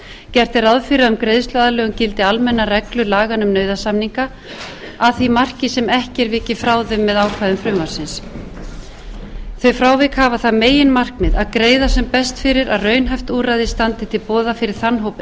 gert er ráð fyrir að um greiðsluaðlögun gildi almennar reglur laganna um nauðasamninga að því marki sem ekki er vikið frá þeim með ákvæðum frumvarpsins þau frávik hafa það meginmarkmið að greiða sem best fyrir að raunhæft úrræði standi til boða fyrir þann hóp